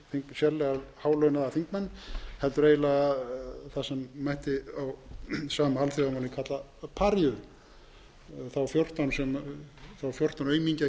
sérlega hálaunaða þingmenn heldur eiginlega það sem mætti á sama alþjóðamáli kalla paríu þá fjórtán aumingja hér